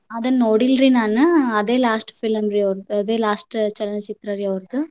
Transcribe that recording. ಅದನ್ನ ನೋಡಿಲ್ರಿ ನಾನ. ಆದೆ last film ರೀ ಅವರ್ದ ಆದೆ last ಚಲನಚಿತ್ರರೀ ಅವರ್ದ.